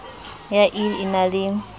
ya ill e na le